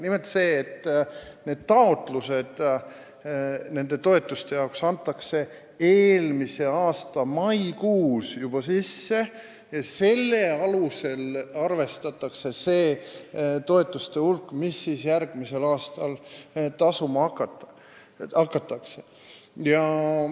Nimelt, nende toetuste taotlused antakse sisse juba eelmise aasta maikuus ja nende põhjal arvestatakse toetuste kogusumma, mida siis järgmisel aastal tasuma hakatakse.